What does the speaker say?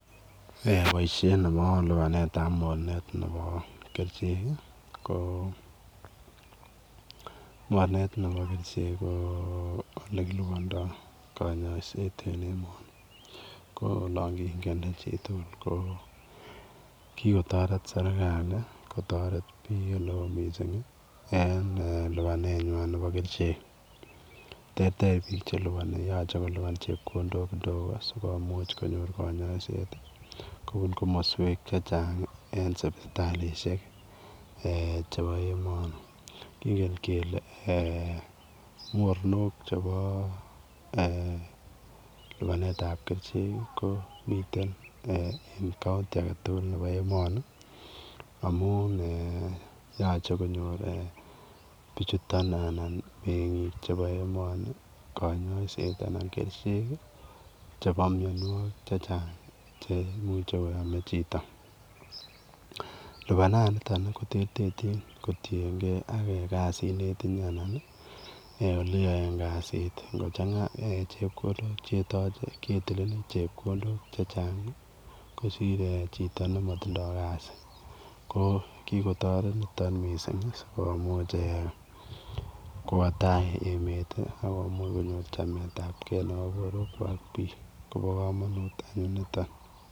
Eeh boisiet nebo lupaneet ab mornet nebo kercheek ii ko mornet nebo kercheek ko ole kilupandaa kanyaiseet eng enani ko olaan kingende chii tugul ko kikotaret serikali kotaret biik ole wooh missing en eeh lupaneet nywaany nebo kercheek terter biik che lupank yachei kolupaan chepkondook kidogo sikomuuch konyoor kanyaiseet kobuun komosweek che chaang eng kanyaiseet eng sipitalishek eeh chebo emani kingen kele eeh mornook chebo lupaneet ab kercheek ii ko miten eeh [county] age tugul nebo emani amuun eeh yachei konyoor bichutoon anan biik chebo emanii kanyaiseet anan kercheek chebo kanyaiseet che chaang anan imuche lupanan nitoon ko terterjiin kotienkei ak kasiit netinye anan olo yaen kasiit kochanga chepkondook che tachei ketilenin chepkondook che chaang ii kosir eeh chitoo nematindoi kasii ko kikotaret nitoon missing sikomuuch kowa tai emet ii akomuuch konyoor chametaab gei nebo boruek kwaak biik koba kamanut anyuun nitoon.